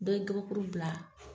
Dɔ ye gabakuru bila